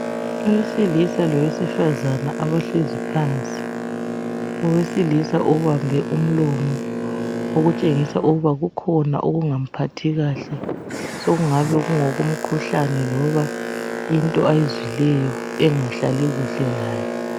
Owesilisa lowesifazane abahlezi phansi, owesilisa obambe umlomo okutshengisa ukuba kukhona okungamphathi kahle, sokungabe kungokomkhuhlane loba into ayizwileyo engahlali kuhle laye.